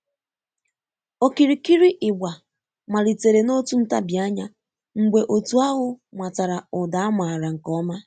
Okirikiri ịgba malitere n'otu ntabi ányá mgbe otu ahụ matara ụda a maara nke ọma